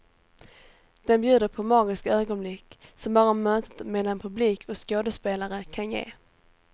Den bjuder på magiska ögonblick som bara mötet mellan publik och skådespelare kan ge.